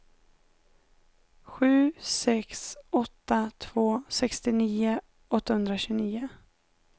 sju sex åtta två sextionio åttahundratjugonio